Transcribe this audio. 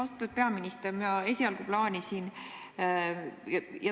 Austatud peaminister!